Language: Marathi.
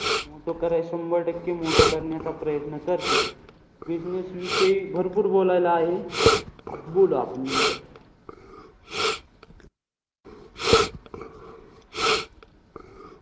मोठं करायचं, शंभर टक्के मोठं करण्याचा प्रयत्न करते. Business विषयी भरपूर बोलायला आहे. बोलू आपण नंतर.